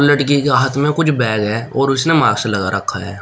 लड़की के हाथ में कुछ बैग है और उसने मास्क लगा रखा है।